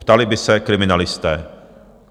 ptali by se kriminalisté.